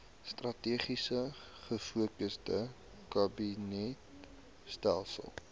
strategies gefokusde kabinetstelsel